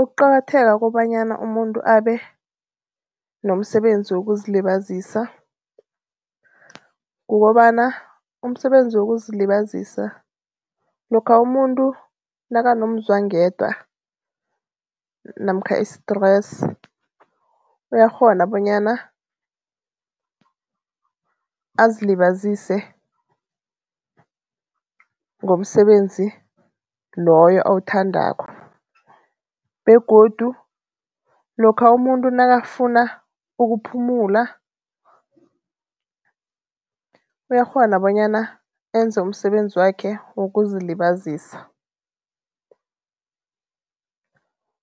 Ukuqakatheka kobanyana umuntu abe nomsebenzi wokuzilibazisa, kukobana umsebenzi wokuzilibazisa lokha umuntu nakanomzwangedwa namkha i-stress, uyakghona bonyana azilibazise ngomsebenzi loyo awuthandako begodu lokha umuntu nakafuna ukuphumula, uyakghona bonyana enze umsebenzi wakhe wokuzilibazisa